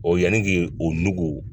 O yanni k'o nugu